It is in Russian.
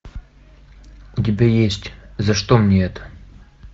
у тебя есть за что мне это